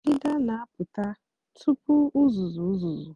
ọdịdá nà-àpụta túpú uzuzu uzuzu